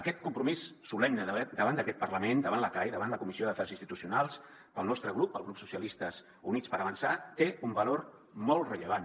aquest compromís solemne davant d’aquest parlament davant la cai davant la comissió d’afers institucionals pel nostre grup el grup socialistes i units per avançar té un valor molt rellevant